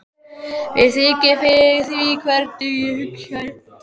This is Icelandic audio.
Mér þykir fyrir því hvernig ég hugsaði.